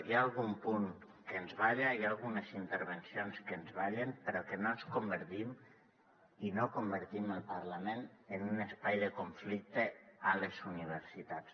hi ha algun punt que ens balla hi ha algunes intervencions que ens ballen però que no ens convertim i no convertim el parlament en un espai de conflicte a les universitats